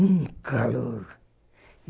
Um calor.